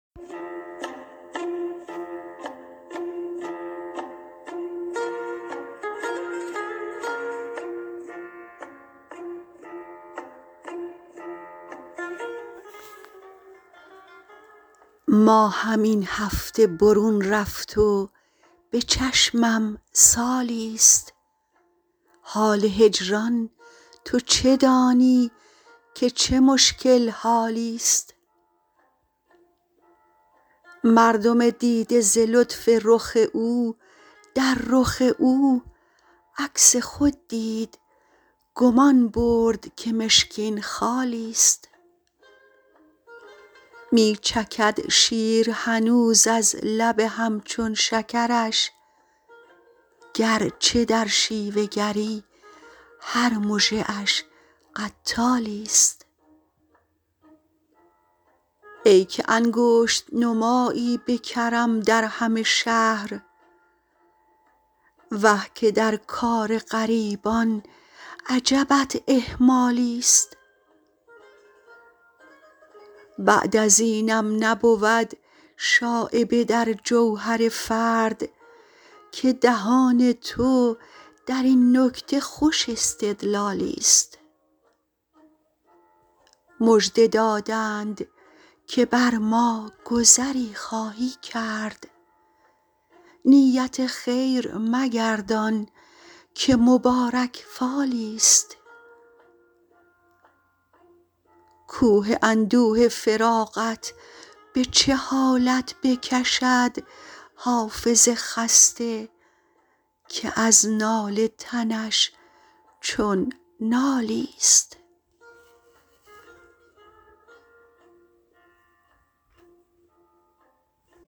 ماهم این هفته برون رفت و به چشمم سالی ست حال هجران تو چه دانی که چه مشکل حالی ست مردم دیده ز لطف رخ او در رخ او عکس خود دید گمان برد که مشکین خالی ست می چکد شیر هنوز از لب هم چون شکرش گر چه در شیوه گری هر مژه اش قتالی ست ای که انگشت نمایی به کرم در همه شهر وه که در کار غریبان عجبت اهمالی ست بعد از اینم نبود شایبه در جوهر فرد که دهان تو در این نکته خوش استدلالی ست مژده دادند که بر ما گذری خواهی کرد نیت خیر مگردان که مبارک فالی ست کوه اندوه فراقت به چه حالت بکشد حافظ خسته که از ناله تنش چون نالی ست